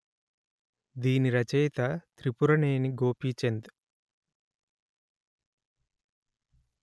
దీని రచయిత త్రిపురనేని గోపీచంద్